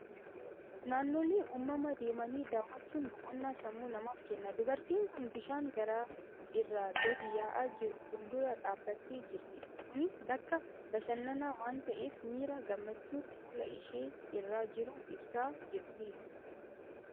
Naannolee uumamaa deemanii daawwachuun boqonnaa sammuu namaaf kenna. Dubartiin kun bishaan gaara irraa gadi yaa'aa jiru fuuldura dhaabbattee jirti. Kunis bakka bashannanaa waan ta'eef, miira gammachuu fuula ishee irra jiru ibsaa jirti.